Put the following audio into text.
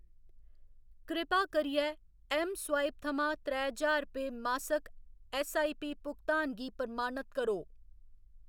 कृपा करियै ऐम्मस्वाइप थमां त्रैऽ ज्हार रुपये मासक ऐस्सआईपी भुगतान गी प्रमाणत करो।